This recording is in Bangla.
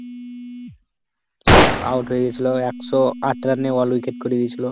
সব out হয়ে গেছিল, একশো আট run এ all wicket করে দিয়েছিল।